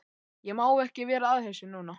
Ég má ekki vera að þessu núna.